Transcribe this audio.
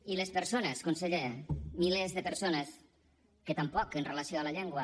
i les persones conseller milers de persones que tampoc amb relació a la llengua